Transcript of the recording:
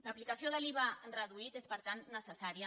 l’aplicació de l’iva reduït és per tant necessària